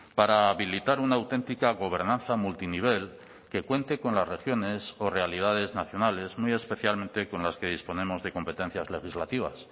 para habilitar una auténtica gobernanza multinivel que cuente con las regiones o realidades nacionales muy especialmente con las que disponemos de competencias legislativas